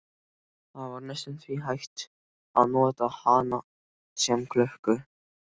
Það var næstum því hægt að nota hana sem klukku.